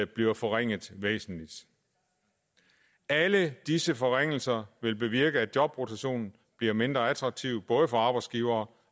bliver forringet væsentligt alle disse forringelser vil bevirke at jobrotation bliver mindre attraktivt både for arbejdsgivere